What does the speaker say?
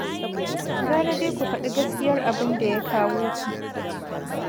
Gara dai ku faɗi gaskiyar abin da ya kawo ku.